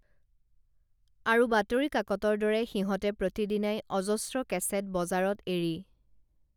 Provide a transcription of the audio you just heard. আৰু বাতৰি কাকতৰ দৰে সিহঁতে প্ৰতি দিনাই অজস্ৰ কেছেট বজাৰত এৰি